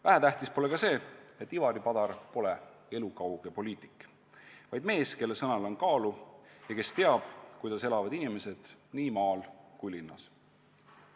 Vähetähtis pole ka see, et Ivari Padar pole elukauge poliitik, vaid mees, kelle sõnal on kaalu ja kes teab, kuidas elavad inimesed nii maal kui ka linnas.